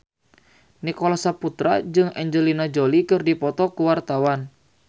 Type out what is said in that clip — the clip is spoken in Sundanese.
Nicholas Saputra jeung Angelina Jolie keur dipoto ku wartawan